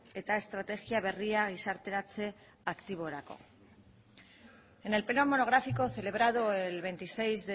eta estrategia berria gizarteratze aktiborako en el pleno monográfico celebrado el veintiséis